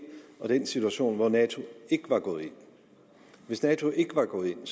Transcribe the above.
og den situation hvor nato ikke var gået ind hvis nato ikke var gået ind